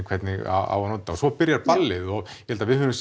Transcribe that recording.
hvernig á að nota þetta og svo byrjar ballið og ég held að við höfum